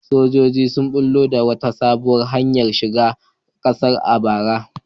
Sojojin sun bullo da wata sabuwar hanyar shiga kasar a bara.